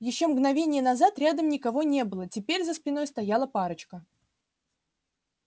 ещё мгновение назад рядом никого не было теперь за спиной стояла парочка